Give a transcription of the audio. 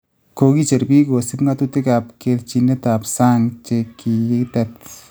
Kokicher biik kosiib ngatutikab kerchinetab sang� chekikitet